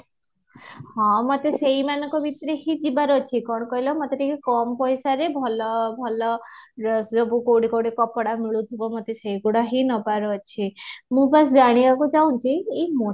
ହଁ, ମତେ ସେଈ ମାନଙ୍କ ଭିତରେ ହିଁ ଯିବାର ଅଛି କଣ କହିଲ ମତେ ଟିକେ କମ ପଇସାରେ ଭଲ ଭଲ dress ସବୁ କୋଉଠି କୋଉଠି କପଡ଼ା ମିଳୁଥିବ ମତେ ସେ ଗୁଡା ହି ନବାର ଅଛି ମୁଁ ବାସ ଜାଣିବାକୁ ଚାହୁଁଛି ଏଇ